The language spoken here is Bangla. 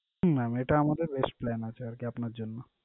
হুম mam, এটা আমাদের best plan আছে আরকি আপনার জন্য।